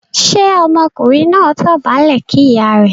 ṣe Ọmọkùnrin náà dobale kí ìyá rẹ̀?